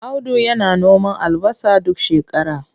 Audu yana noman albasa duk shakara.